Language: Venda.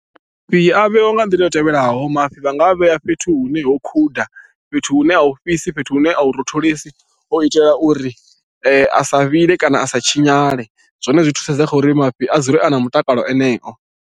Mafhi a vheiwa nga nḓila i tevhelaho mafhi vha nga vhea fhethu hune ho khuda fhethu hune a u fhisi fhethu hune a hu rotholesi u itela uri a sa vhile kana a sa tshinyale zwone zwi thusedza kha uri mafhi a dzule a na mutakalo aneo.